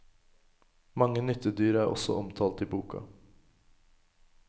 Mange nyttedyr er også omtalt i boka.